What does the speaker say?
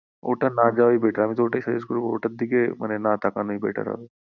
ওটা না যাওয়াই better আমি তো ওটাই suggest করবো ওটার দিকে না তাকানোই better হবে